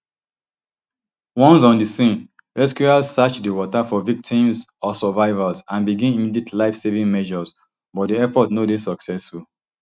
once on di scene rescuers search di water for victims or survivors and begin immediate lifesaving measures but di efforts no dey successful